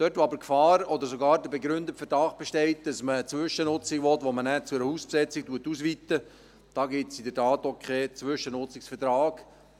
Dort, wo aber Gefahr oder sogar der begründete Verdacht besteht, dass man eine Zwischennutzung will, die man nachher zu einer Hausbesetzung ausweitet, gibt es in der Tat auch keinen Zwischennutzungsvertrag.